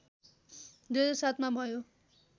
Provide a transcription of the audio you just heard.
२००७ मा भयो